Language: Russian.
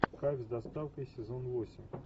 кайф с доставкой сезон восемь